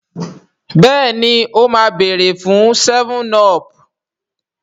béèni o má beere fun 7up.